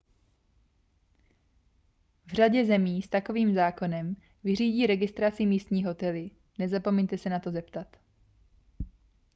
v řadě zemí s takovým zákonem vyřídí registraci místní hotely nezapomeňte se na to zeptat